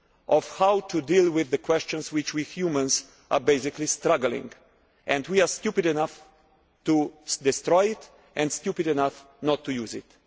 of how to deal with the questions which we humans are struggling with, and we are stupid enough to destroy it and stupid enough not to use it'.